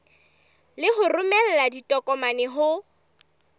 le ho romela ditokomane ho